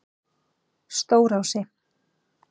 Stórási